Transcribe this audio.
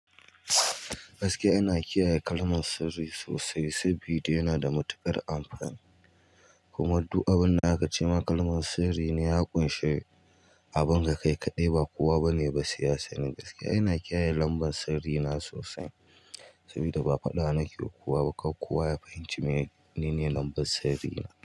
Gaskiya ina kiyaye kalmar sirri sosai sabida yana da matuƙar amfani. Kuma du abinda aka ce ma kalmar sirri ne ya ƙunshi abin da kai kaɗai ba kowa ba ne ba sai ya sani. Gaskiya ina kiyaye lambar sirri na sosai saboda ba faɗa nake yi wa kowa ba, kar kowa ya fahimci menene lambar sirri na.